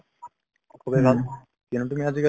খুবেই ভাল। কিয়নো তুমি আজিকালি